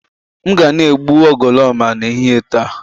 M ga na-egbu ugoloọma n'ehihie taa